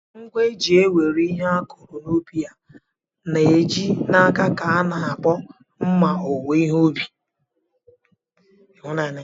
Ngwa eji ewere ihe akụrụ n'ubi a na-eji n'aka ka a na-akpọ mma owuwe ihe ubi.